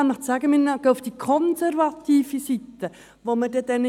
Wir geben den Experten den Auftrag, die konservative Seite zu berechnen.